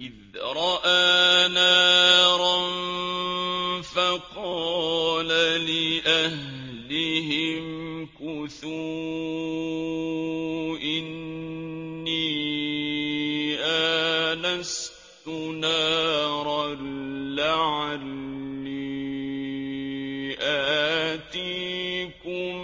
إِذْ رَأَىٰ نَارًا فَقَالَ لِأَهْلِهِ امْكُثُوا إِنِّي آنَسْتُ نَارًا لَّعَلِّي آتِيكُم